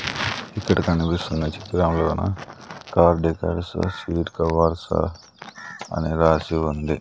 ఇక్కడ కనిపిస్తున్న చిత్రంలోన కార్ డెకర్సు సీట్ కవర్సు అని రాసి ఉంది.